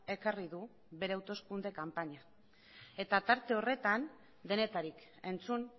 ekarri du bere hauteskunde kanpaina eta tarte horretan denetarik entzun